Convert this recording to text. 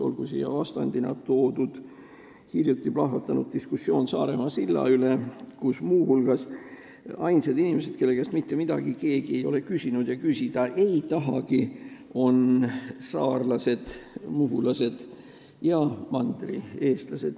Olgu vastupidiseks näiteks toodud hiljuti plahvatanud diskussioon Saaremaa silla üle, kus ainsad inimesed, kelle käest mitte midagi keegi ei ole küsinud ja küsida ei tahagi, on saarlased, muhulased ja mandrieestlased.